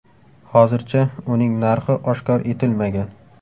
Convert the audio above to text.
Hozircha uning narxi oshkor etilmagan.